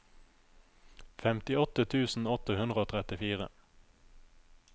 femtiåtte tusen åtte hundre og trettifire